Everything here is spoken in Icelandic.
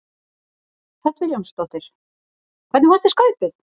Hödd Vilhjálmsdóttir: Hvernig fannst þér Skaupið?